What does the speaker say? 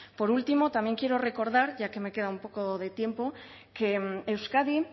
por último también quiero recordar ya que me queda un poco de tiempo que euskadi